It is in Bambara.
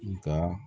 Nka